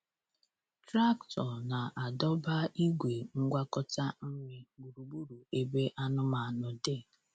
Traktọ na-adọba igwe ngwakọta nri gburugburu ebe anụmanụ dị.